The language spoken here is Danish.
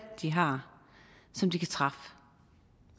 de har som de kan træffe